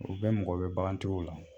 O bɛ mɔgɔ bɛ bagantigiw la